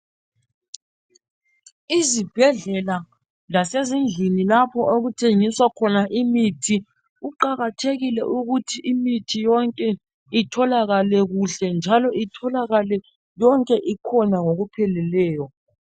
Izibhedlela lasezindlini lapho okuthengiswa khona imithi kuqakathekile ukuthi imithi yonke itholakale kuhle njalo itholakale yonke ikhona ngokupheleleyo